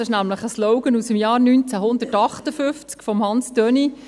Das ist ein Slogan aus dem Jahr 1958 von Hans Thöni.